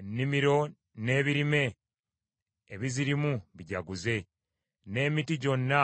Ennimiro n’ebirime ebizirimu bijaguze; n’emiti gyonna